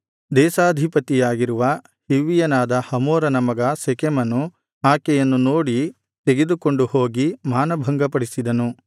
ದೇಶಾಧಿಪತಿಯಾಗಿರುವ ಹಿವ್ವಿಯನಾದ ಹಮೋರನ ಮಗ ಶೆಕೆಮನು ಆಕೆಯನ್ನು ನೋಡಿ ತೆಗೆದುಕೊಂಡು ಹೋಗಿ ಮಾನಭಂಗಪಡಿಸಿದನು